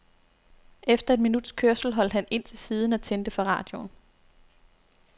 Efter et minuts kørsel holdt han ind til siden og tændte for radioen.